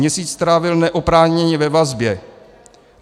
Měsíc strávil neoprávněně ve vazbě.